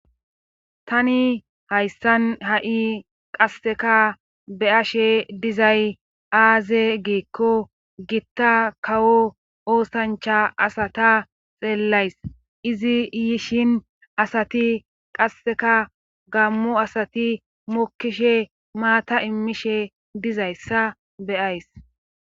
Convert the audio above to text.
tani hayssan ha7i qasseka beyashe dizay aaze geekko gitta kawo oosancha asata xeellays izi yishin asati qasseka gammo asati mokkishe maata immishe dizayssa beyays